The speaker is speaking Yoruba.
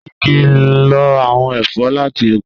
Ṣe ki n lo awọn ẹfọ lati oko?